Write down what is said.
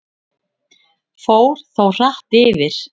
Fór þó hratt yfir.